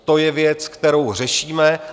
To je věc, kterou řešíme.